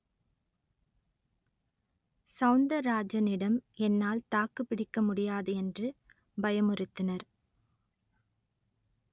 சவுந்தரராஜனிடம் என்னால் தாக்குப்பிடிக்க முடியாது என்று பயமுறுத்தினர்